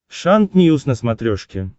шант ньюс на смотрешке